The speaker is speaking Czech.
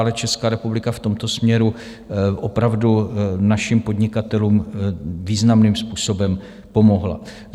Ale Česká republika v tomto směru opravdu našim podnikatelům významným způsobem pomohla.